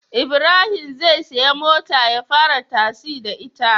Ibrahim zai siya mota ya fara tasi da ita